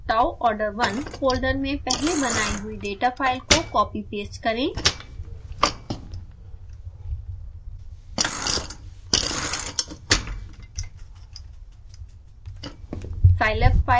kp tau order1 folder में पहले बनाई हुई डेटा फाइल को कॉपीपेस्ट करें